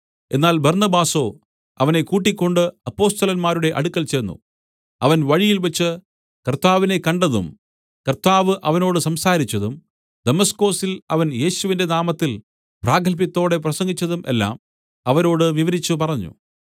എന്നാൽ ബർന്നബാസോ അവനെ കൂട്ടിക്കൊണ്ട് അപ്പൊസ്തലന്മാരുടെ അടുക്കൽ ചെന്നു അവൻ വഴിയിൽവെച്ച് കർത്താവിനെ കണ്ടതും കർത്താവ് അവനോട് സംസാരിച്ചതും ദമസ്കൊസിൽ അവൻ യേശുവിന്റെ നാമത്തിൽ പ്രാഗത്ഭ്യത്തോടെ പ്രസംഗിച്ചതും എല്ലാം അവരോട് വിവരിച്ചു പറഞ്ഞു